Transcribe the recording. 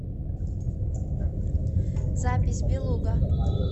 запись белуга